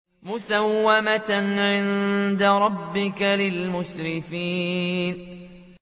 مُّسَوَّمَةً عِندَ رَبِّكَ لِلْمُسْرِفِينَ